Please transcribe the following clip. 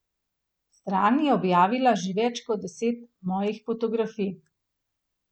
Stran je objavila že več kot deset mojih fotografij.